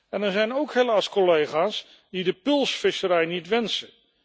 En er zijn ook helaas collega's die de pulsvisserij niet wensen.